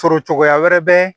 Sɔrɔ cogoya wɛrɛ bɛ